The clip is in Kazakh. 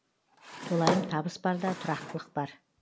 толайым табыс барда тұрақтылық бар